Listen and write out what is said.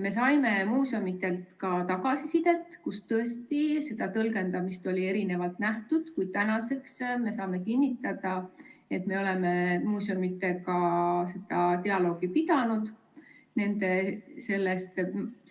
Me saime muuseumidelt tagasisidet, kus tõesti oli erinevat tõlgendamist, kuid tänaseks me saame kinnitada, et me oleme muuseumidega dialoogi pidanud, selle